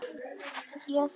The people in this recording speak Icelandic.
Já, þú!